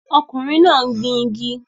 Ọkùnrin náà ń gbin igi